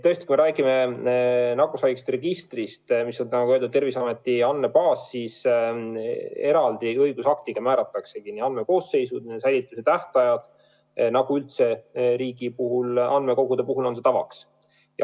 Tõesti, kui me räägime nakkushaiguste registrist, mis on, nagu öeldud, Terviseameti andmebaas, siis eraldi õigusaktiga määrataksegi nii andmekoosseisud, nende säilitamise tähtajad, nagu üldse riigi andmekogude puhul tavaks on.